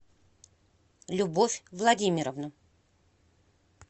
любовь владимировну